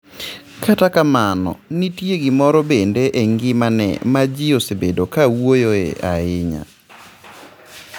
Kata kamano, nitie gimoro bende e ngimane ma ji osebedo ka wuoyoe ahinya.